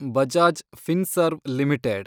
Bajaj Finserv limited